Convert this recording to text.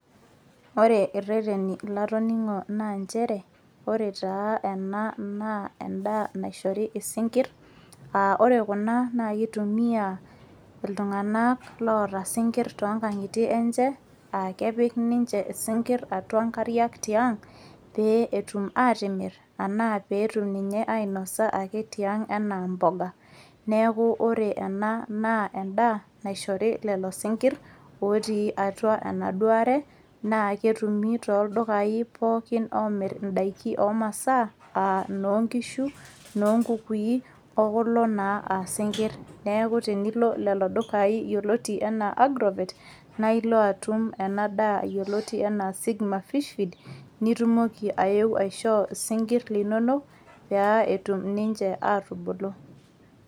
Ore ireteni latoning'o naa njere, ore taa ena naa endaa naishori isinkirr, ah ore kuna na kitumia iltung'anak loota sinkir tonkang'itie enche, akepik ninche isinkirr atua nkariak tiang', pee etum atimir, anaa petum ake ainosa tiang' enaa mboga. Neeku ore ena naa endaa naishori lelo sinkirr, otii atua enaduare, na ketumi toldukai pookin omir idaiki omasaa, ah noonkishu, noonkukui, okulo naa asinkir. Neeku tenilo lelo dukai yioloti enaa agrovet, na ilo atum ena daa yioloti enaa sigma fishfeed, nitumoki aeu aishoo isinkirr linonok, pea etum ninche atubulu.